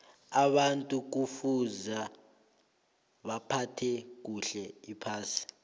abantu kufuza baphathe kuhle iphasi